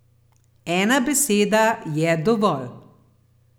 Ena beseda je dovolj.